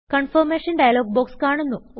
confirmation dialog box കാണുന്നു